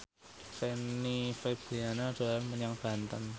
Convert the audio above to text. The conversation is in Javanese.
Fanny Fabriana dolan menyang Banten